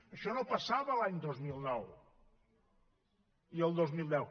això no passava l’any dos mil nou ni el dos mil deu